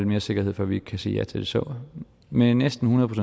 mere sikkerhed før vi kan sige ja til det så med næsten hundrede